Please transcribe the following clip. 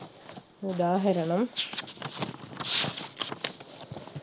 ഉദാഹരണം